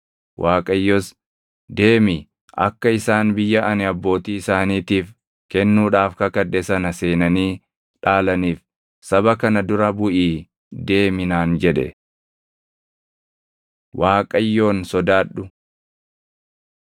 Waaqayyos, “Deemi; akka isaan biyya ani abbootii isaaniitiif kennuudhaaf kakadhe sana seenanii dhaalaniif saba kana dura buʼii deemi” naan jedhe. Waaqayyoon Sodaadhu